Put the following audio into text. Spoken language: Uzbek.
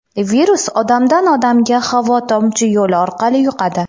Virus odamdan odamga havo-tomchi yo‘li orqali yuqadi.